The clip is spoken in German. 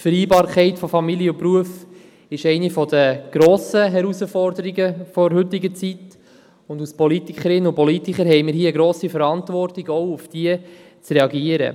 Die Vereinbarkeit von Familie und Beruf ist eine der grossen Herausforderungen der heutigen Zeit, und als Politikerinnen und Politiker haben wir eine grosse Verantwortung, auf diese Herausforderung zu reagieren.